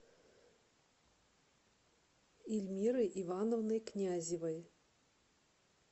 ильмирой ивановной князевой